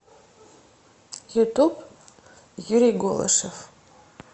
ютуб юрий голышев